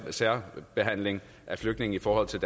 særbehandling af flygtninge i forhold til